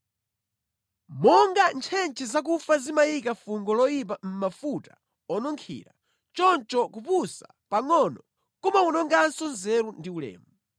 Monga ntchentche zakufa zimayika fungo loyipa mʼmafuta onunkhira, choncho kupusa pangʼono kumawononganso nzeru ndi ulemu.